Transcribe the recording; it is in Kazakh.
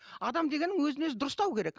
адам дегенің өзін өзі дұрыстау керек